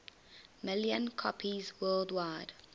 million copies worldwide